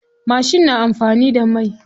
Mashin na anfani da mai.